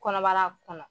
Kɔnɔbara kɔnɔ